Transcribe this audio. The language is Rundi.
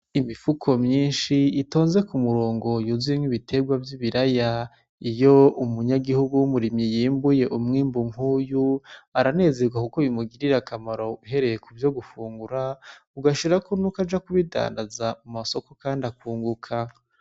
Imifuko myinshi itonze ku murongo yuzuyemwo ibiterwa vy'ibiraya. Iyo umunyagihugu yimbuye umwimbu nkuyu, aranezerwa kuko bimugirira akamaro uhereye kuvyo gufungura, ugashirako n'uko aja kubidandaza mu masoko kandi akunguka.